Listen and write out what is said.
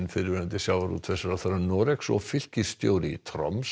fyrrverandi sjávarútvegsráðherra Noregs og fylkisstjóri í